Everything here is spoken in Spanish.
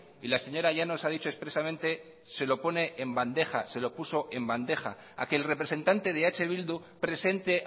y la señora llanos ha dicho expresamente se lo pone en bandeja se lo puso en bandeja a que el representante de eh bildu presente